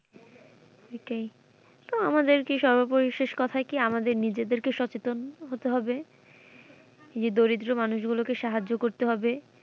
সেইটাই। তো আমাদের কি সর্বপরিশেষ কথাই কি আমাদের নিজেদেরকে সচেতন হতে হবে এই যে দরিদ্র মানুষ গুলোকে সাহায্য করতে হবে।